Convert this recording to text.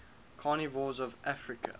carnivores of africa